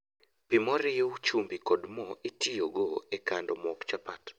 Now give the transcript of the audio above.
pii moriu chumbi kod moo itiyogo e kando mok chapat